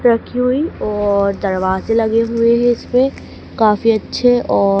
रखी हुई और दरवाजे लगे हुए हैं इसपे काफी अच्छे औ--